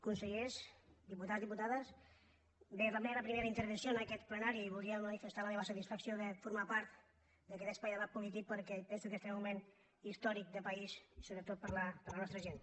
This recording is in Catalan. consellers diputats diputades bé és la meva primera intervenció en aquest plenari i voldria manifestar la meva satisfacció de formar part d’aquest espai de la política perquè penso que estem en un moment històric de país i sobretot per a la nostra gent